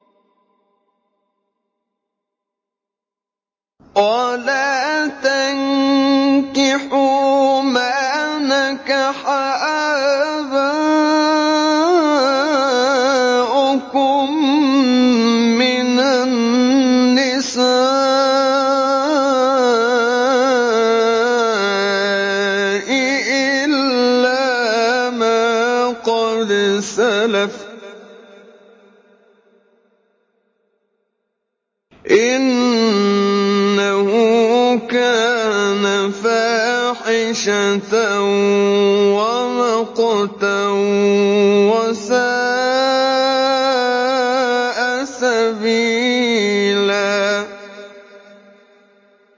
وَلَا تَنكِحُوا مَا نَكَحَ آبَاؤُكُم مِّنَ النِّسَاءِ إِلَّا مَا قَدْ سَلَفَ ۚ إِنَّهُ كَانَ فَاحِشَةً وَمَقْتًا وَسَاءَ سَبِيلًا